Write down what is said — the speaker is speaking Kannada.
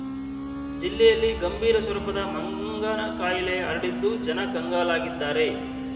ಜಿಲ್ಲೆಯಲ್ಲಿ ಗಂಭೀರ ಸ್ವರೂಪದಲ್ಲಿ ಮಂಗನಕಾಯಿಲೆ ಹರಡಿದ್ದು ಜನ ಕಂಗಾಲಾಗಿದ್ದಾರೆ